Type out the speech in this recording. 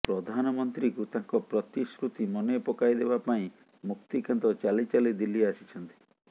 ପ୍ରଧାନମନ୍ତ୍ରୀଙ୍କୁ ତାଙ୍କ ପ୍ରତିଶ୍ରୁତି ମନେପକାଇଦେବା ପାଇଁ ମୁକ୍ତିକାନ୍ତ ଚାଲି ଚାଲି ଦିଲ୍ଲୀ ଆସିଛନ୍ତି